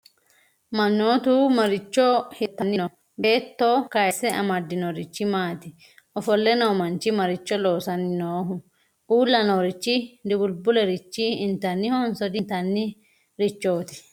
manootu maricho hirritanni no?beetto kayisse amadinorichi maati? ofolle noo manchi maricho loosanni nooho? Uulla noorichi dubulibule rich intannihonso di'intanni richoiti?